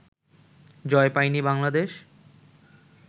জয় পায়নি বাংলাদেশ